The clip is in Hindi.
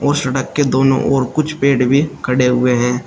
और सड़क के दोनों और कुछ पेड़ भी खड़े हुए हैं।